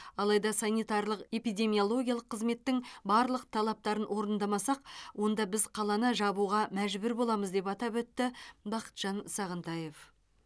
алайда санитарлық эпидемиологиялық қызметтің барлық талаптарын орындамасақ онда біз қаланы жабуға мәжбүр боламыз деп атап өтті бақытжан сағынтаев